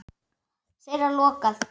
Þeirra lokað.